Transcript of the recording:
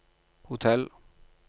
hotell